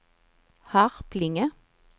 Harplinge